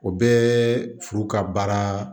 O bɛɛ furu ka baara